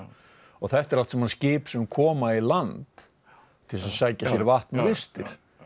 þetta eru allt saman skip sem koma í land til þess að sækja sér vatn og vistir